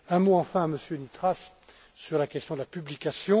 tous. Un mot enfin, Monsieur Nitras, sur la question de la publication.